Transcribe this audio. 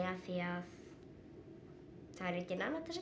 af því að það er enginn annar til